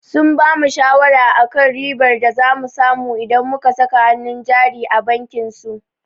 Sun bamu shawara akan ribar da za mu samu idan muka saka hannun jari a bankin su.